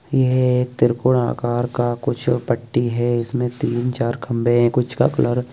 यह एक त्रिकोण आकार का कुछ पट्टी है इसमें तीन चार खंबे है कुछ का कलर --